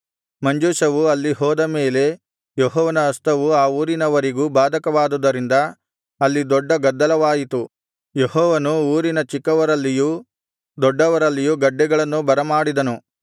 ಮಂಜೂಷವು ಅಲ್ಲಿ ಹೋದ ಮೇಲೆ ಯೆಹೋವನ ಹಸ್ತವು ಆ ಊರಿನವರಿಗೂ ಬಾಧಕವಾದುದರಿಂದ ಅಲ್ಲಿ ದೊಡ್ಡ ಗದ್ದಲವಾಯಿತು ಯೆಹೋವನು ಊರಿನ ಚಿಕ್ಕವರಲ್ಲಿಯೂ ದೊಡ್ಡವರಲ್ಲಿಯೂ ಗಡ್ಡೆಗಳನ್ನು ಬರಮಾಡಿದನು